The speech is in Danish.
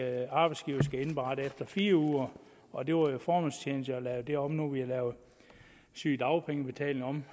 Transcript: at arbejdsgiveren skal indberette efter fire uger og det var jo formålstjenligt at lave det om nu hvor vi har lavet sygedagpengebetalingen om